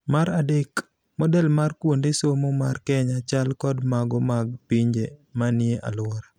Mar adek, model mar kuonde somo mar Kenya chal kod mago mag pinje manie aluora.